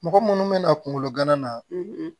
Mɔgɔ munnu bɛna kungolo gana na